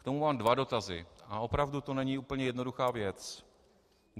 K tomu mám dva dotazy a opravdu to není úplně jednoduchá věc.